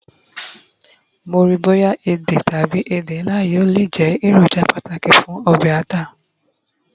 mo nro boya èdè tabi ede nla yíò le je eroja pàtàkì fún obe ata